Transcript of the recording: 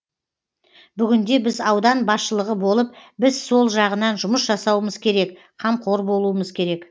бүгінде біз аудан басшылығы болып біз сол жағынан жұмыс жасауымыз керек қамқор болуымыз керек